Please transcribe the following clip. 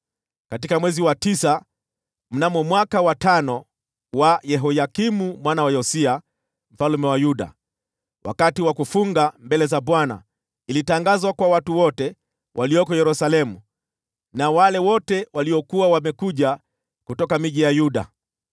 Katika mwezi wa tisa, mnamo mwaka wa tano wa Yehoyakimu mwana wa Yosia mfalme wa Yuda, wakati wa kufunga mbele za Bwana , ilitangazwa kwa watu wote walioko Yerusalemu, na wale wote waliokuwa wamekuja kutoka miji ya Yuda.